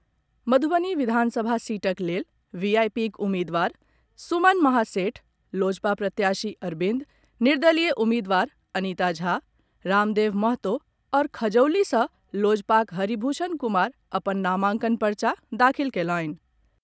मधुबनी विधानसभा सीटक लेल वीआईपीक उम्मीदवार सुमन महासेठ, लोजपा प्रत्याशी अरविंद, निर्दलीय उम्मीदवार अनिता झा, राम देव महतो आओर खजौली सॅ लोजपाक हरिभूषण कुमार अपन नामांकन पर्चा दाखिल कयलनि।